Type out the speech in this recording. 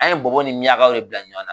An ye bɔbɔ ni miɲankaw de bila ɲɔgɔn na.